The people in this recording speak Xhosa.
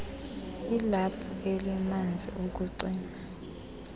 ilaphu elimanzi ukucima